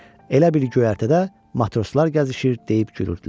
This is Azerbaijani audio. Elə bil göyərtədə matroslar gəzişir, deyib gülürdülər.